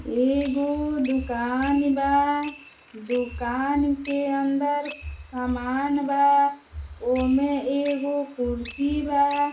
ए गो दुकान बा। दुकान के अंदर सामान बा। ओमे एगो कुर्सी बा।